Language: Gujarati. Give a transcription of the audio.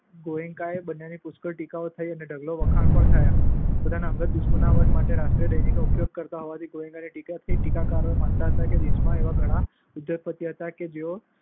ગોએન્કા બંનેની પુષ્કળ ટીકાઓ થઈ અને ઢગલો વખાણ પણ થયા. પોતાની અંગત દુશ્મનાવટ માટે રાષ્ટ્રીય દૈનિકનો ઉપયોગ કરતા હોવાથી ગોએન્કાની ટીકા થઈ. ટીકાકારો માનતા હતા કે દેશમાં એવા ઘણા ઉદ્યોગપતિઓ હતા કે જેઓ